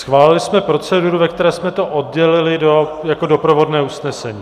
Schválili jsme proceduru, ve které jsme to oddělili jako doprovodné usnesení.